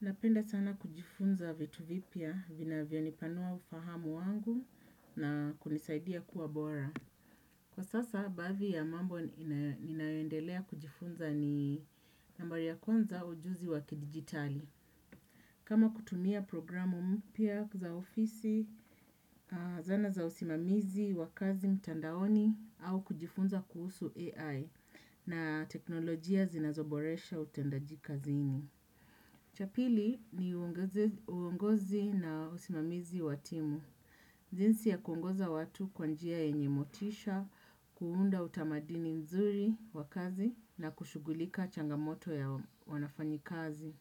Napenda sana kujifunza vitu vipya vinavyonipanua ufahamu wangu na kunisaidia kuwa bora. Kwa sasa baadhi ya mambo ninayoendelea kujifunza ni nambari ya kwanza ujuzi wa kidigitali. Kama kutunia programu mpya za ofisi, zana za usimamizi, wa kazi mtandaoni au kujifunza kuhusu AI na teknolojia zinazoboresha utendaji kazini. Cha pili ni uongozi na usimamizi wa timu. Jinsi ya kuongoza watu kwa njia yenye motisha, kuunda utamaduni nzuri wa kazi na kushughulika changamoto ya wanafanyikazi.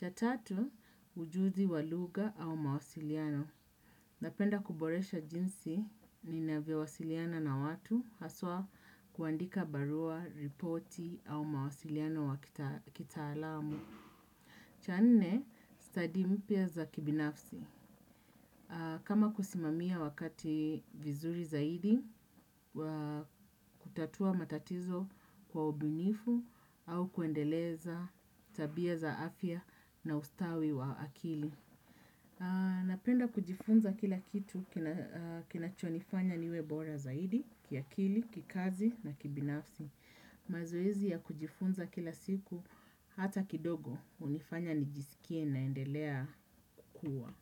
Ya tatu, ujuzi wa lugha au mawasiliano. Napenda kuboresha jinsi ninavyowasiliana na watu, haswa kuandika barua, ripoti au mawasiliano wa kitaalamu. Cha nne, study mpya za kibinafsi. Kama kusimamia wakati vizuri zaidi, kutatua matatizo kwa ubinifu au kuendeleza tabia za afya na ustawi wa akili. Napenda kujifunza kila kitu kinachonifanya niwe bora zaidi, kiakili, kikazi na kibinafsi. Mazoezi ya kujifunza kila siku hata kidogo hunifanya nijisikie naendelea kuwa.